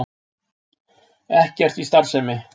Ekkert í starfsemi